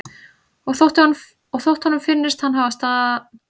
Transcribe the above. Og þótt honum finnist að hann hafi stansað stutt hefur samtal þeirra dregist á langinn.